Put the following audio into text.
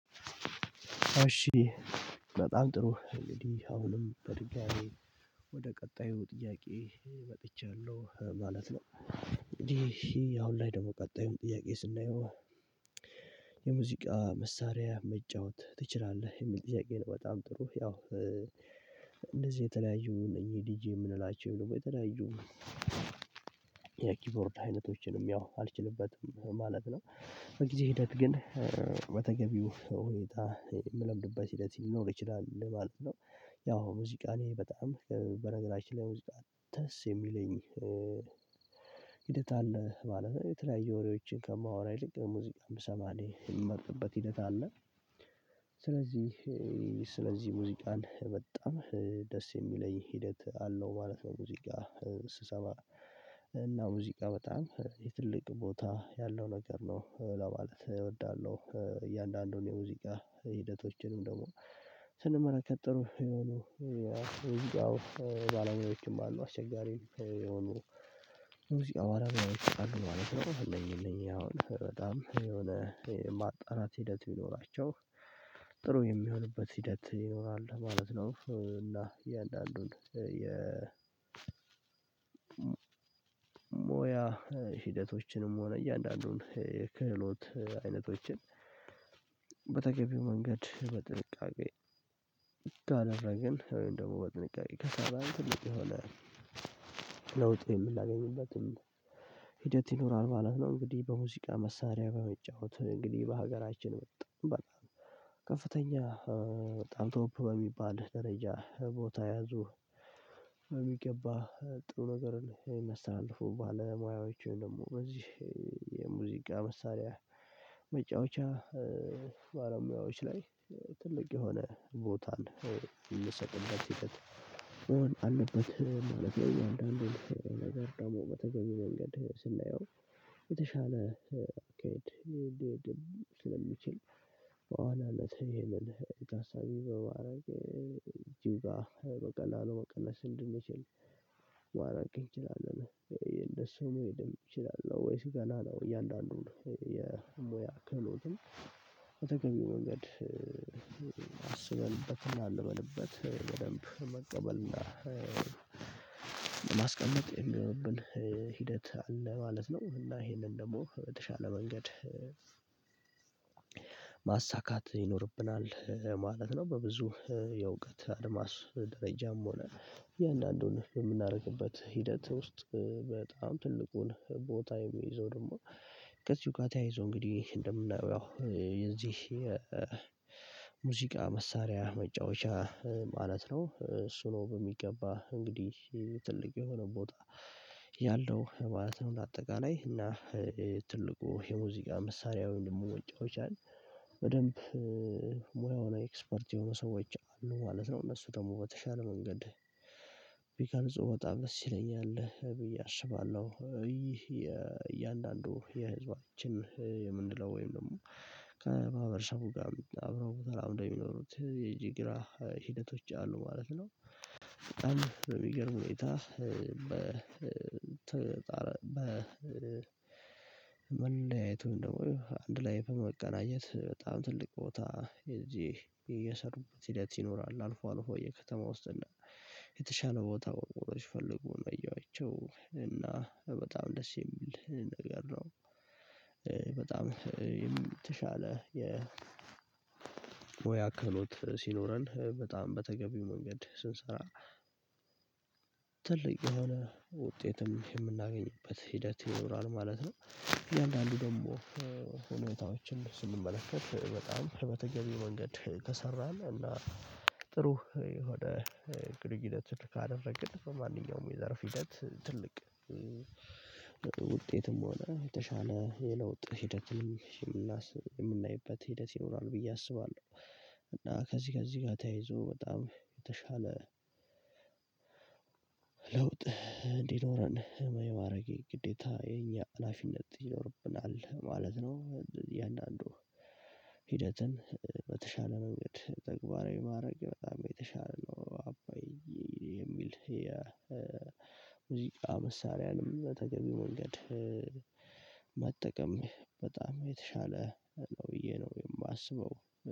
እሺ በጣም ጥሩ እንግዲህ አሁንም በድጋሚ ወደ ቀጣዩ ጥያቄ መጥቻለሁ ማለት ነው እንግዲህ አሁን ላይ ደግሞ ቀጣዩን ጥያቄ ስናየው? የሙዚቃ መሳሪያ መጫወት ትችላለህ የሚል ጥያቄ ነው በጣም ጥሩ ያው እነደዚ የተለያዩ እነዚህ ዲጂ የምንላቸው ወይም ደግሞ የተለያዩ የኪፖርድ አይነቶችንም ያው አልችልበትም ማለት ነው በጊዜ ሂደት ግን በተገቢው ሁኔታ የምለምድበት ሂደት ሊኖር ይችላል ማለት ነው። ያው ሙዚቃ እኔ በጣም በነገራችን ላይ ሙዚቃ ደስ የሚለኝ ሂደት አለ ማለት የተለያየ ወሬዎችን ከማወራ ይልቅ ሙዚቃን ብሰማ እኔ የምመርጥበት ሂደት አለ። ስለዚህ ስለዚህ ሙዚቃን በጣም ደስ የሚለኝ ሂደት አለው ማለት ነው። ሙዚቃ ስሰማ እና ሙዚቃ በጣም የትልቅ ቦታ ያለው ነገር ነው ለማለት እወዳለሁ እያንዳንዱን የሙዚቃ ሂደቶችንም ደግሞ ስንመለከት ጥሩ የሆኑ የሙዚቃው ባለሙያዎችም አሉ አስቸጋሪም የሆኑ ሙዚቃ ባለሙያዎች አሉ ማለት ነው። እነኚ እነኚ አሁን በጣም የሆነ ማጣራት ሂደት ቢኖራቸው ጥሩ የሚሆንበት ሂደት ይኖራል ማለት ነው። እና እያንዳንዱን የሞያ ሂደቶችንም ሆነ እያንዳንዱን የክህሎት አይነቶችን በተገቢው መንገድ በጥንቃቄ ካደረገን ወይም ደግሞ በጥንቃቄ ከሰራን ትልቅ የሆነ የምናገኝበትም ሂደት ይኖራል ማለት ነው። እንግዲህ በሙዚቃ መሳሪያ በመጫወት እንግዲህ በሀገራችን በጣም በጣም ከፍተኛ በጣም ቶፕ በሚባል ደረጃ ቦታ የያዙ በሚገባ ጥሩ ነገርን የሚያስተላልፉ ባለሙያዎችን ደግሞ እዚህ የሙዚቃ መሳሪያ መጫወቻ ባለሙያዎች ላይ ትልቅ የሆነ ቦታን የሚሰጥበት ሂደት መሆን አለበት ማለት ነው። ነገር ደግሞ በተገቢው መንገድ ስናየው የተሻለ አካሄድ ስለሚችል በዋናነት ይሄንን ታሳቢ በማድረግ እጅጋ በቀላሉ መቀነስ እንድንችል ማራግ እንችላለን እንደሱ መሄድ እንችላለን ወይስ ገና ነው እያለ እያንዳንዱን የሞያ ክህሎትም በተገቢው መንገድ አስበንበትና አልመንበት በደንብ መቀበልና ለማስቀመጥ የሚሆንብን ሂደት አለ ማለት ነው። እና ይሄንን ደግሞ በተሻለ መንገድ ማሳካት ይኖርብናል ማለት ነው። በብዙ የእውቀት አድማስ ደረጃም ሆነ የእያንዳንዱን የምናደርግበት ሂደት ውስጥ በጣም ትልቁን ቦታ የሚይዘው ደግሞ ከዚህ በጋር ተያይዞ እንግዲህ እንደምናየው ያው የዚህ መሳሪያ መጫወቻ ማለት ነው። እሱ ነው በሚገባ እንግዲህ ትልቅ የሆነ ቦታ ያለው ማለት ነው እንደ አጠቃላይ እና ትልቁ የሙዚቃ መሳሪያው ወይም ደግሞ መጫወቻን በደንብ ሙያው ላይ ኤክስፖርት የሆኑ ሰዎች አሉ ማለት ነው። እነሱ ደግሞ በተሻለ መንገድ ቢቀርጹ በጣም ደስ ይለኛል ብዬ አስባለሁ ይህ የእያንዳንዱ የህዝባችን የምንለው ወይም ደግሞ ከማህብረሰቡ ጋር አብረው ተላምደው እንደሚኖሩት የጅግራ ሂደቶች አሉ ማለት ነው። በጣም በሚገርም ሁኔታ በ መለያየቱን ደግሞ አንድ ላይ በመቀናኘት በጣም ትልቅ ቦታ እዚህ እየሰሩበት ሂደት ይኖራል አልፎ አልፎ የከተማ ውስጥ እና የተሻለ ቦታ ወርውሮ ሲፈልጎ ነው ያየኋቸው እና በጣም ደስ የሚል ነገር ነው። በጣም የም ተሻለ የሙያ ክህሎት ሲኖረን በጣም በተገቢው መንገድ ስንሰራ ትልቅ የሆነ ውጤትም የምናገኝበት ሂደት ይኖራል ማለት ነው። እያንዳንዱ ደግሞ ሁኔታዎችን ስንመለከት በጣም ከመተገቢው መንገድ ከሰራን እና ጥሩ ወደ ግንኙነትን ካደረግን በማንኛውም የዘርፍ ሂደት ትልቅ ውጤትም ሆነ የተሻለ የለውጥ ሂደትም የምናይበት ሂደት ይኖራል ብዬ አስባለሁ። ከዚህ ከዚህ ጋር ተያይዞ በጣም የተሻለ ለውጥ እንዲኖረን የማድረጌ ግዴታ የኛ ሀላፊነት ይኖርብናል ማለት ነው። የእያንዳንዱ ሂደትን በተሻለ መንገድ ተግባራዊ ማድረግ በጣም የተሻለ ነው። የሚል የሙዚቃ መሳሪያንም በተገቢው መንገድ መጠቀም በጣም የተሻለ ነው ብዬ ነው የማስበው